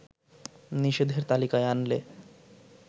নিষেধের তালিকায় আনলে